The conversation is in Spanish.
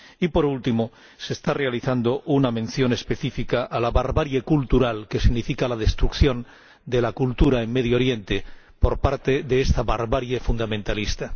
Por último, se realiza una mención específica a la barbarie cultural que significa la destrucción de la cultura en Oriente Próximo por parte de esta barbarie fundamentalista.